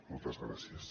moltes gràcies